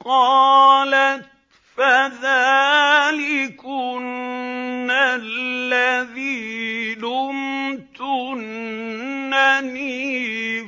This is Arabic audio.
قَالَتْ فَذَٰلِكُنَّ الَّذِي لُمْتُنَّنِي